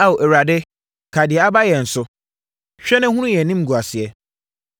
Ao Awurade, kae deɛ aba yɛn so; hwɛ, na hunu yɛn animguaseɛ.